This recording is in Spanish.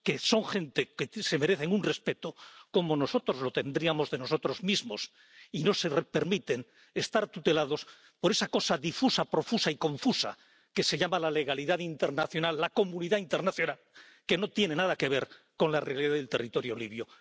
son gente que se merece un respeto, como nosotros lo tendríamos hacia nosotros mismos, y no permiten estar tutelados por esa cosa difusa, profusa y confusa que se llama la legalidad internacional, la comunidad internacional, que no tiene nada que ver con la realidad del territorio libio.